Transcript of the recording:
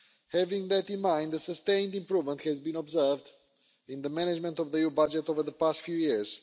Having that in mind, a sustained improvement has been observed in the management of the EU budget over the past few years.